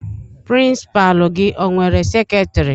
Pirincipalu gi o nwere seketiri?